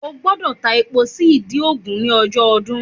O gbọ́dọ̀ ta epo sí ìdí ògún ní ọjọ́ ọdún